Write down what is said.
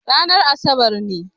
Ranar asabar ne.